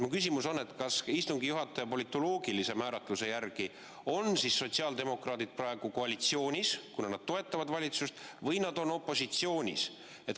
Mu küsimus on, kas istungi juhataja politoloogilise määratluse järgi on sotsiaaldemokraadid praegu koalitsioonis, kuna nad toetavad valitsust, või nad on opositsioonis.